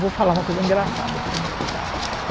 Vou falar uma coisa engraçada primeiro, tá?